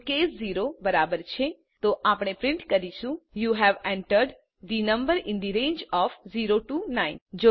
જો કેસ 0 બરાબર છે તો આપણે પ્રિન્ટ કરીશું યુ હવે entered the number in the range of 0 9